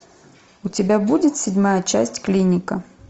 у тебя будет седьмая часть клиника